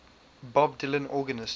bob dylan organist